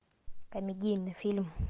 комедийный фильм